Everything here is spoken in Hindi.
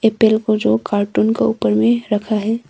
ऐप्पेल को जो कार्टून का ऊपर में रखा है।